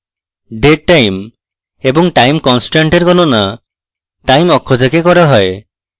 dead time এবং time constant এর গনণা time অক্ষ থেকে করা হয়